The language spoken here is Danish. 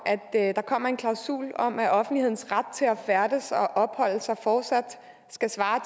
at der kommer en klausul om at offentlighedens ret til at færdes og opholde sig fortsat skal svare